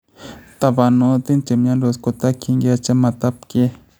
Tabanotin chemyandos kotaskyinke chametabkey